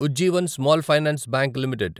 Ujjivan small finance bank limited